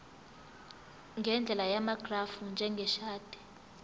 ngendlela yamagrafu njengeshadi